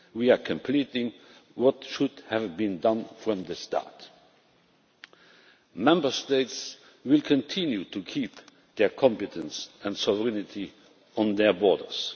We are completing what should have been done from the start. Member States will continue to keep their competence and sovereignty on their borders.